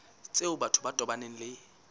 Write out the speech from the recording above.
tseo batho ba tobaneng le